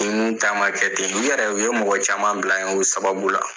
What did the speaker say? Ninnu ta ma kɛ ten, ninnu yɛrɛ, u ye mɔgɔ caman bila yen o sababu la.